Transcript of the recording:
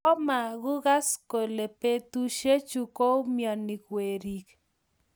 Kimokugas kole betushe chuk koumianik weriik.